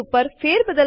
લખાણ સમાવે છે